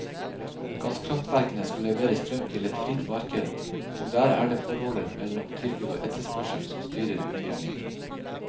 Gasskraftverkene skal levere strøm til et fritt marked, og der er det forholdet mellom tilbud og etterspørsel som styrer utviklingen.